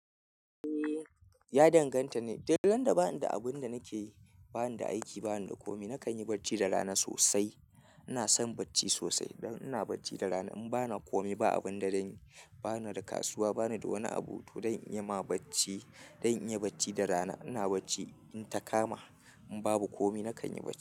Eh, ya danganta ne. Du randa ba ni da abin da nake yi, ba ni da aiki, ba ni da kome, na kan yi barci da rana sosai. Ina son barci sosai. Don ina bacci da rana, in ba na kome, ba abin da zanyi, ba na da kasuwa, ba ni da wani abu, to dan iya ma bacci, dan iya bacci da rana, ina barci. In ta kama, in babu kome na kan yi bac.